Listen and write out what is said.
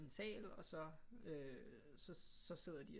Sal og så så sidder de